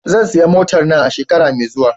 Zan saya motar na a shekara mai zuwa.